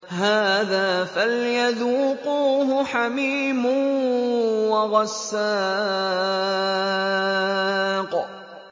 هَٰذَا فَلْيَذُوقُوهُ حَمِيمٌ وَغَسَّاقٌ